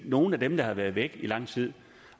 nogle af dem der har været væk i lang tid